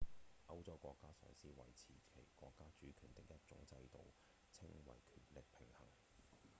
歐洲國家嘗試維持其國家主權的一種制度稱為權力平衡